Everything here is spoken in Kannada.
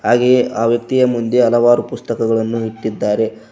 ಹಾಗೆಯೇ ಆ ವ್ಯಕ್ತಿಯ ಮುಂದೆ ಹಲವಾರು ಪುಸ್ತಕಗಳನ್ನು ಇಟ್ಟಿದ್ದಾರೆ.